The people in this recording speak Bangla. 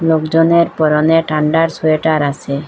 লোকজনের পরনে ঠান্ডার সোয়েটার আছে।